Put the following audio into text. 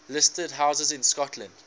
listed houses in scotland